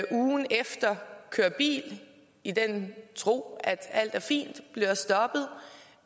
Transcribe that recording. ugen efter kører bil i den tro at alt er fint bliver stoppet